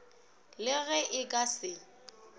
le ge e ka se